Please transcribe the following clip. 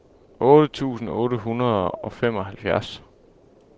otte tusind otte hundrede og femoghalvfems